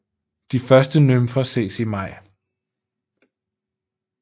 De første nymfer ses i maj